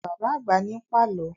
Bàbá àgbà ní ń pàlọ́